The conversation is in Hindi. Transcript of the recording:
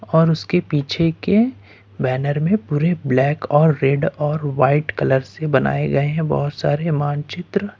और उसके पीछे के बैनर में पूरे ब्लैक और रेड और वाइट कलर से बनाए गए हैं बहोत सारे मानचित्र।